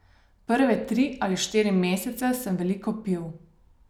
Prve tri ali štiri mesece sem veliko pil.